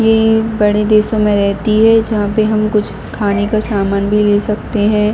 ये बड़े देशों में रहती है जहां पर हम कुछ खाने का सामान भी ले सकते हैं।